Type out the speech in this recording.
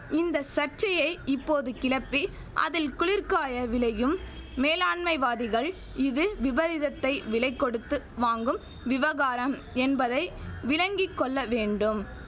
இந்த சர்ச்சையை இப்போது கிளப்பி அதில் குளிர்காய விளையும் மேலாண்மைவாதிகள் இது விபரீதத்தை விலை கொடுத்து வாங்கும் விவகாரம் என்பதை விளங்கி கொள்ளவேண்டும்